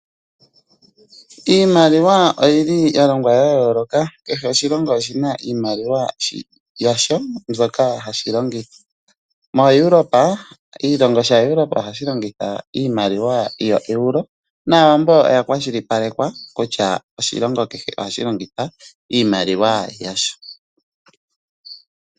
Iimaliwa oyili ya longwa yaayooloka kehe oshilongo oshina iimaliwa yasho mbyoka hashi longitha. MoEuropa, oshilongo Europa ohashi longitha iimaliwa yoEuro nAawambo oya kwashilipaleka kutya oshilongo kehe ohashi longitha Iimaliwa yasho.